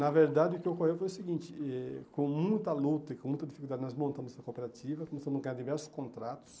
Na verdade o que ocorreu foi o seguinte, eh com muita luta e com muita dificuldade nós montamos essa cooperativa, começamos a ganhar diversos contratos,